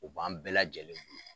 O b'an bɛɛ lajɛlen